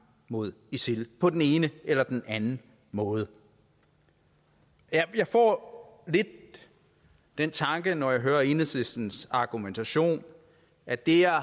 mod isil på den ene eller den anden måde jeg får lidt den tanke når jeg hører enhedslistens argumentation at det her